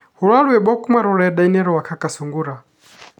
rora rwimbo kuma rurenda rwa kaka sungura